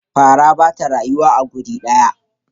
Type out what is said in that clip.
Fara ba ta rayuwa a wuri daya